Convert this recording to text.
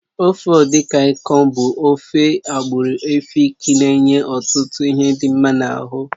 Ofe edikaikon bụ ofe ndị agbụrụ Èfik na-enye ọtụtụ ihe dị mma n'ahụ